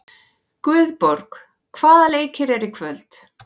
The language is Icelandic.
Guðborg, hvaða leikir eru í kvöld?